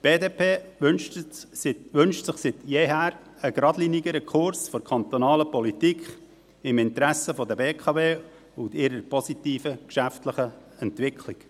Die BDP wünscht sich seit jeher einen gradlinigeren Kurs der kantonalen Politik im Interesse der BKW und ihrer positiven geschäftlichen Entwicklung.